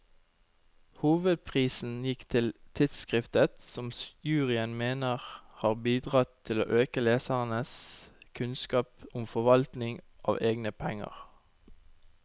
Hovedprisen gikk til tidskriftet, som juryen mener har bidratt til å øke lesernes kunnskap om forvaltning av egne penger.